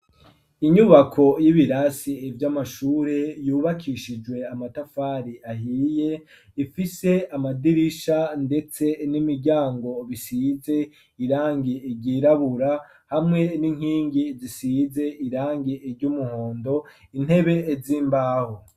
Inyubako y'ibirasi ivyo amashure yubakishijwe amatafari ahiye ifise amadirisha, ndetse n'imiryango bisize irangi iryirabura hamwe n'inkingi zisize irangi iry'umuhondo intebe z'imbaho.